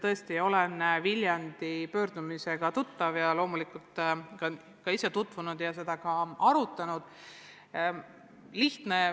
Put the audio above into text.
Tõesti, ma olen Viljandi pöördumisega tuttav ja loomulikult ka ise teemaga tutvunud ja ministeeriumis arutanud.